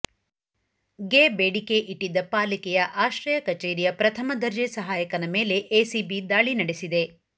ಗೆ ಬೇಡಿಕೆ ಇಟ್ಟಿದ್ದ ಪಾಲಿಕೆಯ ಆಶ್ರಯ ಕಚೇರಿಯ ಪ್ರಥಮ ದರ್ಜೆ ಸಹಾಯಕನ ಮೇಲೆ ಎಸಿಬಿ ದಾಳಿ ನಡೆಸಿದೆ